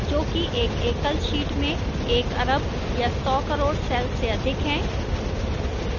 जो कि एक एकल sheet में एक अरब या सौ crore cells से अधिक है